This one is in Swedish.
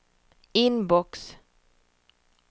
inbox